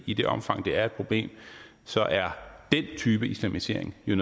i det omfang det er et problem så er den type islamisering jo